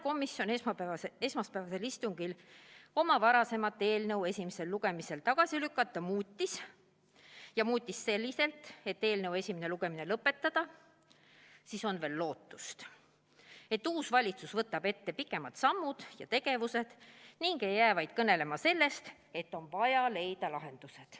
Kuna sotsiaalkomisjon esmaspäevasel istungil oma varasemat eelnõu, mis esimesel lugemisel tagasi lükati, muutis, ja muutis selliselt, et eelnõu esimene lugemine lõpetada, siis on veel lootust, et uus valitsus võtab ette pikemad sammud ega jää vaid kõnelema sellest, et on vaja leida lahendused.